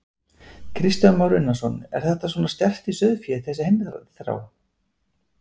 Kristján Már Unnarsson: Er þetta svona sterkt í sauðfé, þessi heimþrá?